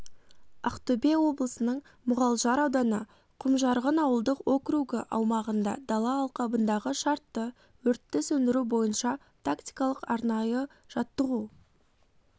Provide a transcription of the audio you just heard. ақтөбе облысының мұғалжар ауданы құмжарған ауылдық округі аумағында дала алқабындағы шартты өртті сөндіру бойынша тактикалық-арнайы жаттығу